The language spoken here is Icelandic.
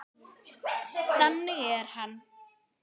Þannig er hann.